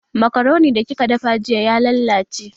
Makaroni da kika dafa jiya ya lallace